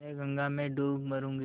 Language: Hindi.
मैं गंगा में डूब मरुँगी